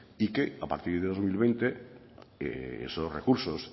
y que a partir del dos mil veinte esos recursos